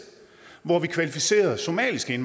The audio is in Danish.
hvor vi kvalificerede somaliske